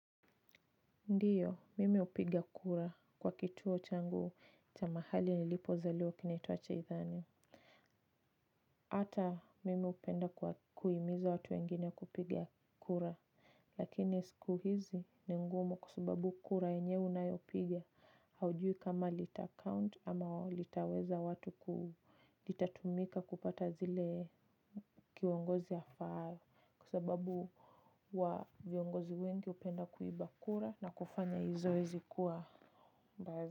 Ndiyo, mimi hupiga kura kwa kituo changu cha mahali nilipozaliwa kinaitwa cha idhani. Ata mimi hupenda kuwa kuhimiza watu wengine kupiga kura. Lakini siku hizi ni ngumu kwa subabu kura yenyewe unayopiga. Haujui kama litacount ama litaweza watu itatumika kupata zile kiongozi afaaye. Kwa sababu huwa viongozi wengi hupenda kuiba kura na kufanya hii zoezi kuwa.